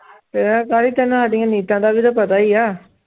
ਤੇ ਤੈਨੂੰ ਸਾਡੀਆਂ ਨੀਤਾਂ ਦਾ ਵੀ ਤਾਂ ਪਤਾ ਹੀ ਆ।